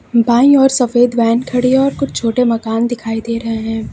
बाईं ओर सफेद वैन खड़ी और कुछ छोटे मकान दिखाई दे रहे हैं।